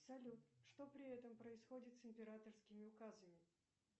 салют что при этом происходит с императорскими указами